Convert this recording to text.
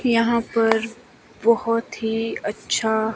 यहां पर बहुत ही अच्छा--